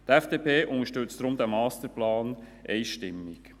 Darum unterstützt die FDP diesen Masterplan einstimmig.